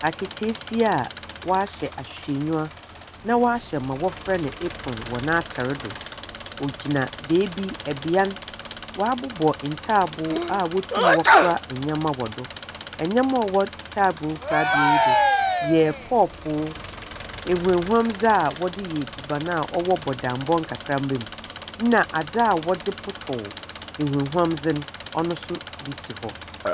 Aketeesia a wahyɛ ahwehwɛnyiwa, na wahyɛ ma wɔfrɛ no apron wɔ n'atar do. Ɔgyina beebi. Bea no, wɔabobɔ ntaaboo a wɔtumi wɔkora nyama wɔ do. Nyama a ɔwɔ ntaaboo korabea yi do yɛ kɔɔpoo, ehwehwamdze a wɔdze yɛ edziban a ɔwɔ bodambɔ nkakramba mu, ɛnna adze a wɔdze potɔw ahwehwamdze no, ɔno nso bi si hɔ.